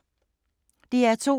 DR2